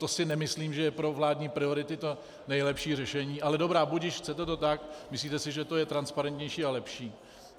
To si nemyslím, že je pro vládní priority to nejlepší řešení, ale dobrá, budiž, chcete to tak, myslíte si, že to je transparentnější a lepší.